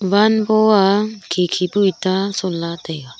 wall go a khe khe pu eta son la taiga.